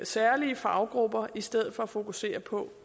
særlige faggrupper i stedet for at fokusere på